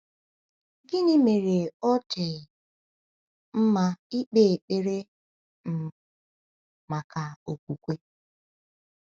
Gịnị mere ọ dị mma ịkpe ekpere um maka okwukwe?